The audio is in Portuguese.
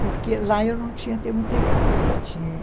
Porque lá eu não tinha termo integral, eu tinha...